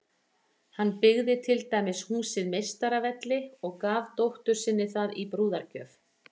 Hann byggði til dæmis húsið Meistaravelli og gaf dóttur sinni það í brúðargjöf.